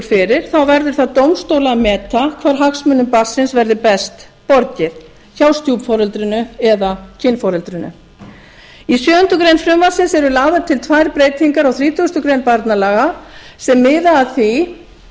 fyrir verður það dómstóla að meta hvar hagsmunum barnsins verði best borgið hjá stjúpforeldrinu eða kynforeldrinu í sjöundu greinar frumvarpsins eru lagðar til tvær breytingar á þrítugasta grein barnalaga sem miða að því